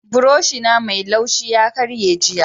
buroshi na Mai laushi ya karye jiya.